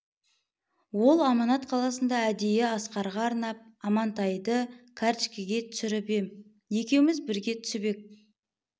ол аманат қаласында әдейі асқарға арнап амантайды картішкеге түсіріп ем екеуміз бірге түсіп ек